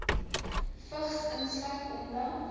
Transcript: vigs insluit omdat